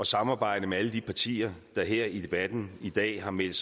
samarbejde med alle de partier der her i debatten i dag har meldt